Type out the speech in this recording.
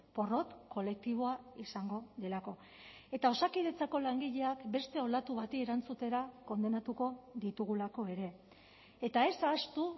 porrot kolektiboa izango delako eta osakidetzako langileak beste olatu bati erantzutera kondenatuko ditugulako ere eta ez ahaztu